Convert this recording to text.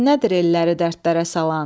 Fitnədir elləri dərdlərə salan.